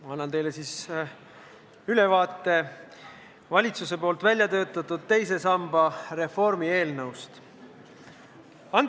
Ma annan teile ülevaate valitsuse väljatöötatud teise samba reformi eelnõust.